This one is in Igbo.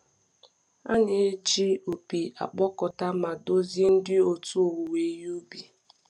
A na-eji na-eji opi akpọkọta ma duzie ndị otu owuwe ihe ubi.